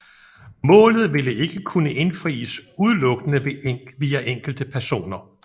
Målet ville ikke kunne indfries udenlukkende via enkelte personer